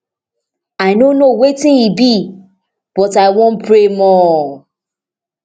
i no know wetin e be but i wan pray more